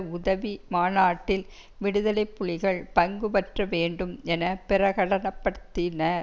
உதவி மாநாட்டில் விடுதலை புலிகள் பங்குபற்ற வேண்டும் என பிரகடன படுத்தி நர்